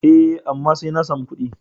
E, amma sai na samu ƙuɗi.